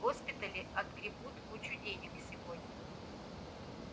госпитали отгребут кучу денег сегодня